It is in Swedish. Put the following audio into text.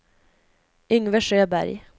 Yngve Sjöberg